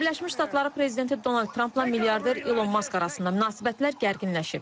Amerika Birləşmiş Ştatları prezidenti Donald Trampla milyarder İlon Mask arasında münasibətlər gərginləşib.